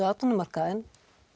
atvinnumarkaðinn